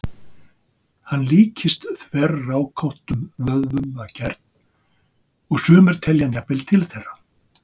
Hann líkist þverrákóttum vöðvum að gerð, og sumir telja hann jafnvel til þeirra.